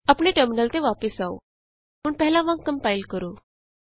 ਆਪਣੇ ਟਰਮਿਨਲ ਤੇ ਵਾਪਸ ਆਉ ਹੁਣ ਪਹਿਲਾਂ ਵਾਂਗ ਕੰਪਾਇਲ ਕਰੋ